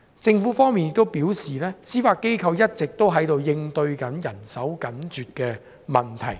政府方面亦表示，司法機構一直在應對人手緊絀的問題。